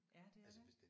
Ja det er det